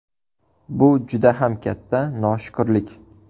Bu juda ham katta noshukrlik.